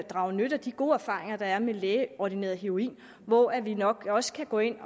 drage nytte af de gode erfaringer der er med lægeordineret heroin hvor vi nok også kan gå ind